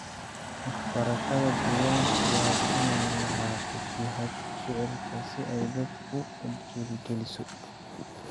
Waxbarashada deegaanka waa inay lahaato jihada ficilka si ay dadka u dhiirrigeliso.